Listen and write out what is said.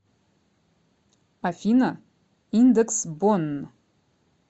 афина индекс бонн